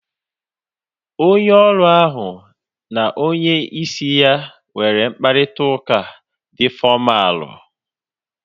Onye ọrụ ahu na onye isi ya nwere mkparịta ụka dị fọmalu